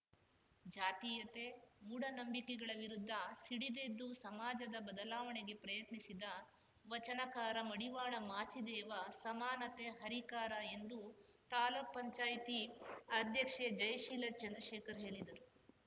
ಜಾತೀಯತೆ ಮೂಡನಂಬಿಕೆಗಳ ವಿರುದ್ಧ ಸಿಡಿದೆದ್ದು ಸಮಾಜದ ಬದಲಾವಣೆಗೆ ಪ್ರಯತ್ನಿಸಿದ ವಚನಕಾರ ಮಡಿವಾಳ ಮಾಚಿದೇವ ಸಮಾನತೆ ಹರಿಕಾರ ಎಂದು ತಾಲೂಕು ಪಂಚಾಯಿತಿ ಅಧ್ಯಕ್ಷೆ ಜಯಶೀಲ ಚಂದ್ರಶೇಖರ್‌ ಹೇಳಿದರು